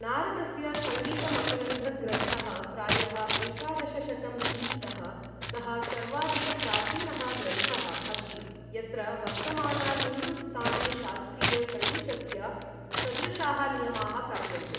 नारदस्य संगीतमकरन्धग्रन्थः, प्रायः एकादशशतं ई.तः, सः सर्वाधिकप्राचीनः ग्रन्थः अस्ति यत्र वर्तमानहिन्दुस्तानीशास्त्रीयसङ्गीतस्य सदृशाः नियमाः प्राप्यन्ते ।